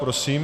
Prosím.